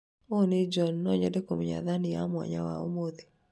ũyũ nĩ John no nyende kũmenya thani ya mwanya wa ũmũthĩ